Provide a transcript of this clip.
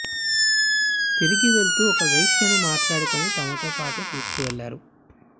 తిరిగి వెళుతూ ఒక వేశ్యను మాట్లాడుకుని తమతో పాటు తీసుకు వెళ్లారు